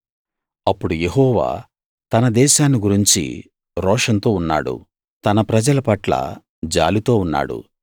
అప్పుడు యెహోవా తన దేశాన్ని గురించి రోషంతో ఉన్నాడు తన ప్రజల పట్ల జాలితో ఉన్నాడు